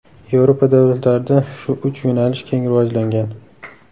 Yevropa davlatlarida shu uch yo‘nalish keng rivojlangan.